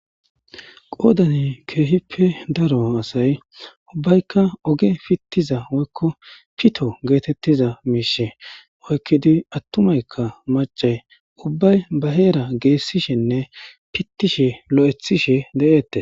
qoodane keehippe daro asay ubbaykka oge pittiza oykko pito geetettiza miishe oykkidi attumaykka mac'ay ubbay ba heera geessishenne pittishe lo7ethishe de7eette